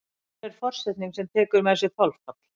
Per er forsetning sem tekur með sér þolfall.